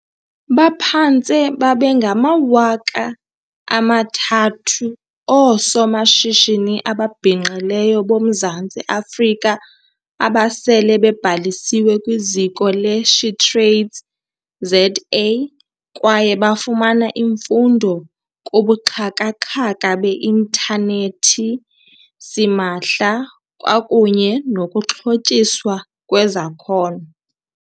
Baphantse babe ngama-3 000 oosomashishini ababhinqileyo boMzantsi Afrika abasele bebhalisiwe kwiZiko le-SheTradesZA kwaye bafumana imfundo kubuxhaka-xhaka be intanethi simahla kwakunye nokuxhotyiswa ngezakhono.